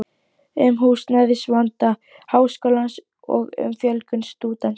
um húsnæðisvanda Háskólans og um fjölgun stúdenta.